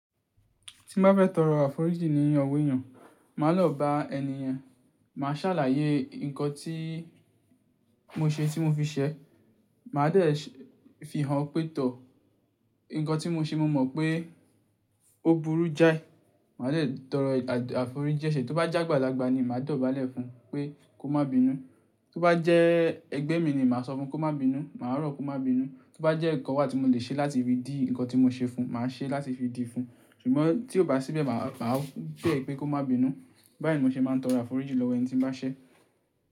Tí n bá fẹ́ tọrọ àforíjì ní ọwọ èyàn, màá lọ bá ẹni yẹn, màá ṣàlàyé nǹkan tí mo ṣe tí mo fi ṣẹ. Màá dẹ̀ fi hàn pé tọ̀, ǹkan tí mo ṣe mo mọ̀ pé ó burú jáì. Màá dẹ̀ tọrọ àforíji ẹ́ṣẹ́. Tó bá jágbalagba ni màá dọ̀bálẹ̀ fún un pé kó má bínú. Tó bá jẹ́ ẹgbẹ́ mi ni màá sọ fún un kó má bínú, màá rọ̀ kó má bínú. Tó bá jẹ́ ǹkan wà tí mo lè ṣe láti fi dì ǹkan tí mo ṣe fún un, màá ṣe láti fi dìí fún un. Ṣùgbọ́n tí kò bá síbẹ̀, màá pè é pé kó má bínú. Báyìí ni mo ṣe máa ń tọrọ àforíjì lọ́wọ́ ẹni tí mo bá ṣẹ́.